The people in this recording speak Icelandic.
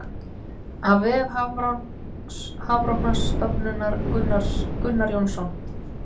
Af vef Hafrannsóknastofnunar Gunnar Jónsson.